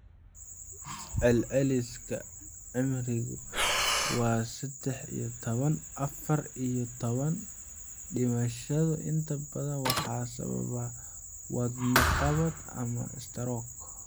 Celceliska cimrigiisu waa sedex iyo toban, afar iyo toban; Dhimashadu inta badan waxa sababa wadno-qabad ama istaroog.